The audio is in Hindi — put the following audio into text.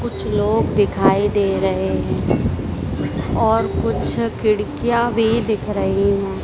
कुछ लोग दिखाई दे रहे हैं और कुछ खिड़कियां भी दिख रही हैं।